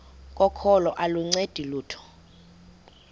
kokholo aluncedi lutho